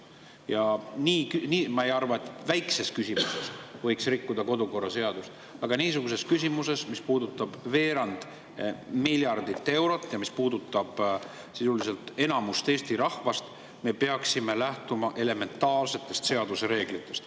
Ma ei arva, et väikses küsimuses võiks rikkuda kodukorraseadust, aga niisuguses küsimuses, mis puudutab veerand miljardit eurot ja sisuliselt enamikku Eesti rahvast, me peaksime lähtuma elementaarsetest seaduse reeglitest.